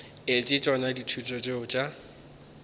etse tšona dithuto tšeo tša